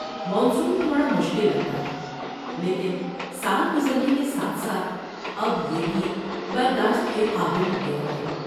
Monsoon تھوڑا مشکل لگتا ہے لیکن سال گزرنے کے ساتھ ساتھ اب یہ بھی برداشت کے قابل ہو گیا ہے۔